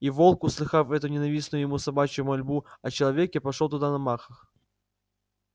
и волк услыхав эту ненавистную ему собачью мольбу о человеке пошёл туда на махах